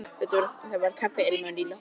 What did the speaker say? Það var kaffiilmur í loftinu.